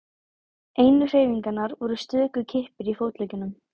Einu hreyfingarnar voru stöku kippir í fótleggjunum.